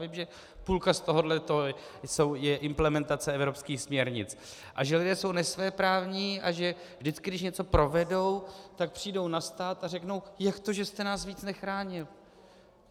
Vím, že půlka z tohohle jsou implementace evropských směrnic a že lidé jsou nesvéprávní a že vždycky, když něco provedou, tak přijdou na stát a řeknou: Jak to, že jste nás víc nechránil?